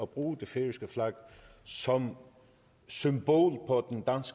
bruge det færøske flag som symbol på